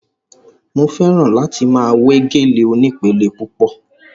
Mo fẹ́ràn láti máa we gèlè onípele púpọ̀